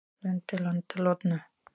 Lundey landaði loðnu